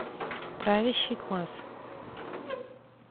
правящий класс